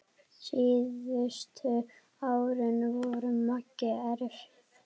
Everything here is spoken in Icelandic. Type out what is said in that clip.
Síðustu árin voru Magga erfið.